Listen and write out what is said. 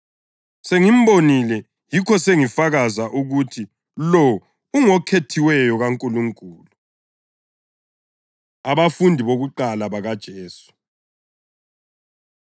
Sengibonile yikho sengifakaza ukuthi lo ungoKhethiweyo kaNkulunkulu.” Abafundi Bokuqala BakaJesu